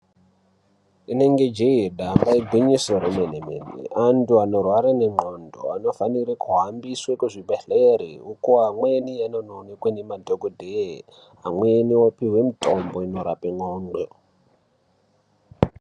Inenge jee damba ingwinyiso remenemene, antu anorwara nendxondo anofanire kuhambiswe kuzvibhehlere uko amweni anonowanikwa nemadhokodheye, amweni opihwe mitombo inorape ndxondo.